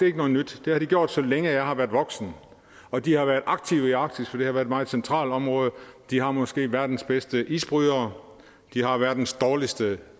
ikke noget nyt det har de gjort så længe jeg har været voksen og de har været aktive i arktis for det har været et meget centralt område de har måske verdens bedste isbrydere de har verdens dårligste